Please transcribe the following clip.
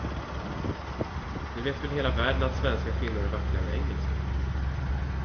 Det vet väl hela världen att svenska kvinnor är vackrare än engelska.